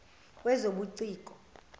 wezobuciko